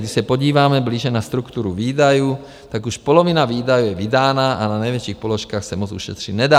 Když se podíváme blíže na strukturu výdajů, tak už polovina výdajů je vydána a na největších položkách se moc ušetřit nedá.